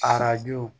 Arajo